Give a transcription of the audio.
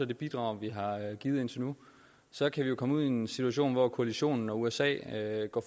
det bidrag vi har givet indtil nu så kan vi jo komme ud i en situation hvor koalitionen og usa går